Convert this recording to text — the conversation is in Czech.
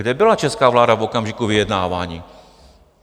Kde byla česká vláda v okamžiku vyjednávání?